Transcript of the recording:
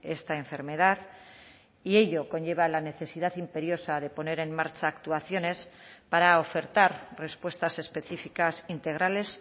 esta enfermedad y ello conlleva la necesidad imperiosa de poner en marcha actuaciones para ofertar respuestas específicas integrales